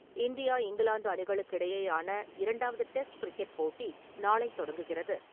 India - England அணிகளுக்கு இடையேயான இரண்டாவது டெஸ்ட் கிரிக்கெட் போட்டி நாளை தொடங்குகிறது .